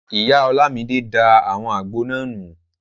Ìyá Ọlámidé da àwọn àgbo náà nù